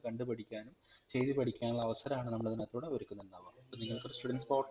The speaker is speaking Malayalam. അപ്പൊ നിങ്ങൾക്ക് കണ്ടുപഠിക്കാനും ചെയ്തുപഠിക്കാനുള്ള അവസരാണ് നമ്മൾ ഇതിനകത്തുടെ ഒരുക്കുന്നുണ്ടാവ